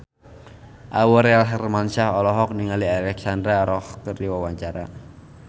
Aurel Hermansyah olohok ningali Alexandra Roach keur diwawancara